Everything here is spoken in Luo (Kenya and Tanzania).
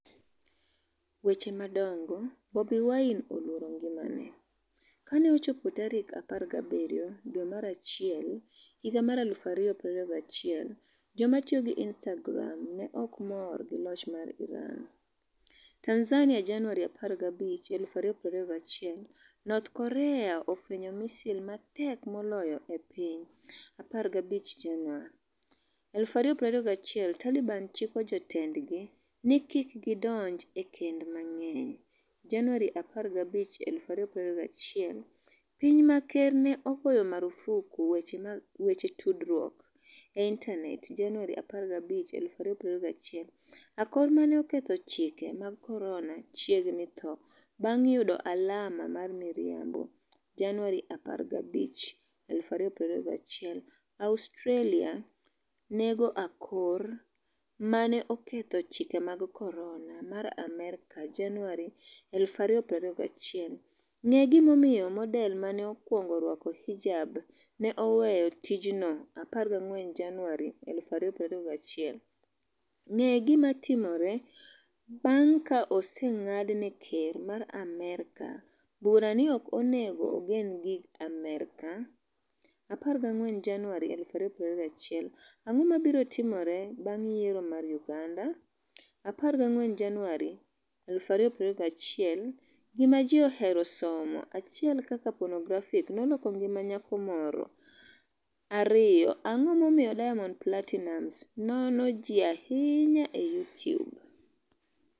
Weche madongo Bobi Wine 'oluoro ngimane' Ka ne ochopo tarik 17 dwe mar achiel higa mar 2021, joma tiyo gi Instagram ne ok mor gi loch mar Iran. TanzaniaJanuary 15, 2021North Korea fwenyo 'misil ma tek moloyo e piny'15 Jan. 2021 Taliban chiko jotendgi ni kik gidonj e kend mang'eny Jan. 15 2021 Piny ma ker ne ogoyo marfuk weche tudruok e intanet Jan. 15 2021 Akor 'ma ne oketho chike mag corona' chiegni tho bang' yudo alama mar miriambo Jan. 15 2021 Australia nego akor 'ma ne oketho chike mag corona' mar Amerka January 2021 Ng'e gimomiyo model ma ne okwongo rwako hijab ne 'oweyo tijno'14 January 2021 Ng'e gima timore bang' ka oseng'ad ne ker mar Amerka bura ni ok onego ogen gi Amerka? 14 Januar 2021 Ang'o mabiro timore bang' yiero mar Uganda? 14 Januar 2021 Gima Ji Ohero Somo 1 Kaka Ponografi Noloko Ngima Nyako Moro 2 Ang'o Momiyo Diamond Platinumz Nono Ji Ahinya e Youtube?